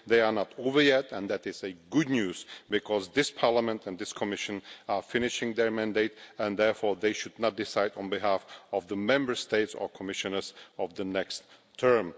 They are not over yet, and that is good news, because this Parliament and this Commission are finishing their mandate, and therefore they should not decide on behalf of the Member States or Commissioners of the next term.